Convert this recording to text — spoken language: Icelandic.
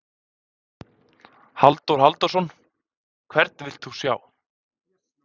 Halldór Halldórsson: Hvern vilt þú sjá?